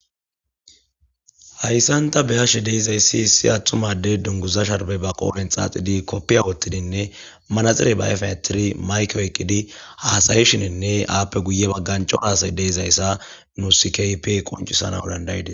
hayssan ta be'ashe de'izayssi isi attuma adey dunguza sharbey ba qoonen xaaxidi koppiya wottidinne manaxire baefen etiri mayko eqqidi haasaye shininne aappe guye bagganco aasay deizayssa nusikp qoncisana dandaydes